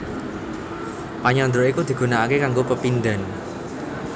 Panyandra iku digunaaké kanggo pepindhan